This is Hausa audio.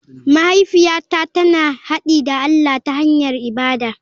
Mahaifiyata tana haɗi da allah ta hanyar ibada.